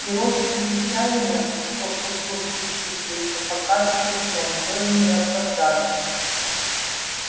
и робкие чаяния что к утру случившееся покажется сном тоже не оправдались